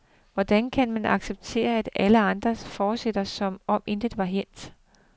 Hvordan skal man acceptere, at alle andre fortsætter, som om intet var hændt.